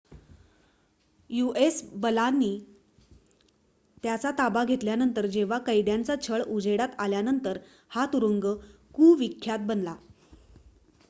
US बलांनी त्याचा ताबा घेतल्यावर जेव्हा कैद्यांचा छळ उजेडात आल्यानंतर हा तुरुंग कुविख्यात बनला